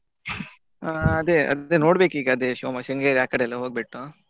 ಹಾ ಅದೇ ಅದ್~ ನೋಡ್ಬೇಕು ಅದೇ ಈಗ Shimo~ Shringeri ಆ ಕಡೆ ಎಲ್ಲ ಹೋಗ್ಬಿಟ್ಟು.